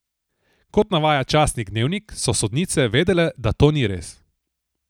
Kot navaja časnik Dnevnik, so sodnice vedele, da to ni res.